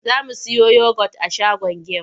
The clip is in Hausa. Za mu siyo yogot a shagon gem.